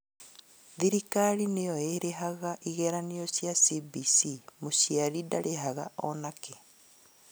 Thirikari nĩo ĩrĩhaga igeranio cia CBC mũciari ndarĩhaga ona kĩ